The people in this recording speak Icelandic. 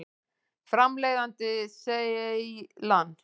Framleiðandi: Seylan.